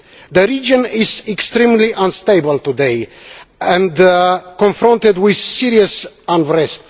The region is extremely unstable today and confronted with serious unrest.